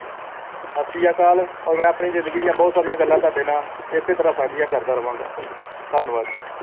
ਸਤਿ ਸ੍ਰੀ ਅਕਾਲ ਔਰ ਮੈਂ ਆਪਣੀ ਜ਼ਿੰਦਗੀ ਦੀਆਂ ਬਹੁਤ ਸਾਰੀਆਂ ਗੱਲਾਂ ਤੁਹਾਡੇ ਨਾਲ ਇਸ਼ਤਿਹਾਰਾਂ ਸਾਂਝੀਆਂ ਕਰਦਾ ਰਹਾਂਗਾ ਧੰਨਵਾਦ ਜੀ